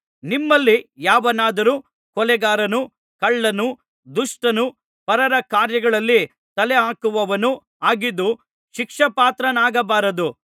ನಿಮ್ಮಲ್ಲಿ ಯಾವನಾದರು ಕೊಲೆಗಾರನು ಕಳ್ಳನು ದುಷ್ಟನು ಪರರ ಕಾರ್ಯಗಳಲ್ಲಿ ತಲೆಹಾಕುವವನು ಆಗಿದ್ದು ಶಿಕ್ಷಾಪಾತ್ರನಾಗಬಾರದು